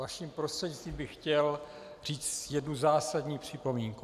Vaším prostřednictvím bych chtěl říct jednu zásadní připomínku.